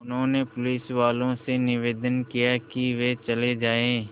उन्होंने पुलिसवालों से निवेदन किया कि वे चले जाएँ